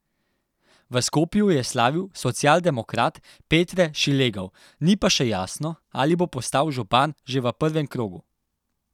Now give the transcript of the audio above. V Skopju je slavil socialdemokrat Petre Šilegov, ni pa še jasno, ali bo postal župan že v prvem krogu.